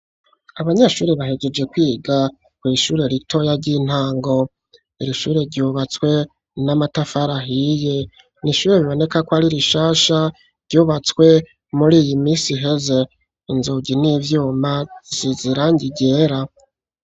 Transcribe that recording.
Abanyeshure bahejeje kwiga ku ishure ritoya ry'intango ir ishure ryubatswe n'amatafari ahiye ni ishure riboneka ko ari rishasha ryubatswe muri iyi minsi heza inzugi n'ivyuma risize irangi ryera.